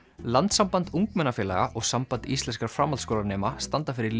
landssamband ungmennafélaga og Samband íslenskra framhaldsskólanema standa fyrir